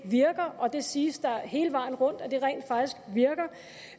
virker og der siges hele vejen rundt